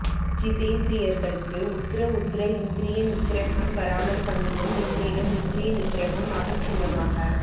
ஜிதேந்த்ரியர்களுக்கு உத்தர உத்தர இந்த்ரிய நிக்ரஹம் வாராமல் பண்ணியும் மென்மேலும் இந்த்ரிய நிக்ரஹம் அபிச்சின்னமாக